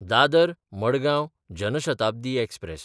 Dadar Madgaon Jan Shatabdi express